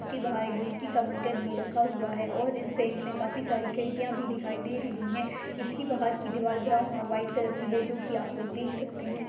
उसके बाहर एक बीजलि का मीटर भी रखा हुआ है और इस बैंक मे काफी सारी खिड़किया भी दिखाई दे रही है इसकी बाहर की दीवाल ब्राउन और व्हाइट कलर की है जोकी आप लोग देख सकते है।